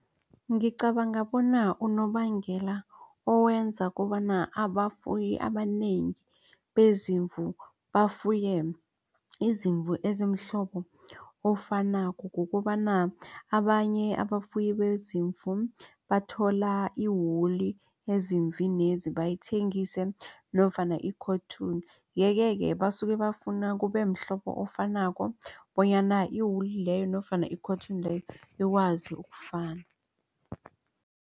Ngicabanga bona unobangela owenza kobana abafuyi abanengi bezimvu bafuye izimvu ezimhlobo ofanako. Kukobana abanye abafuyi bezimvu bathola iwuli ezimvinezi bayithengise nofana i-cotton yeke-ke basuke bafuna kubemhlobo ofanako bonyana i-wuli leyo nofana i-cotton leyo ikwazi ukufana.